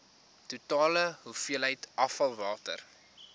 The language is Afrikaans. totale hoeveelheid afvalwater